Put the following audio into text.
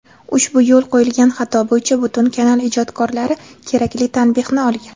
ushbu yo‘l qo‘yilgan xato bo‘yicha butun kanal ijdodkorlari kerakli tanbehni olgan.